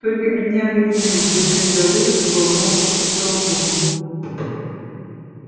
только бедняга невилл держась за люстру болтался под потолком